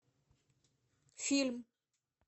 фильм